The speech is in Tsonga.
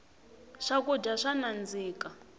swakudya swa nandzika